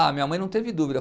Ah, minha mãe não teve dúvida.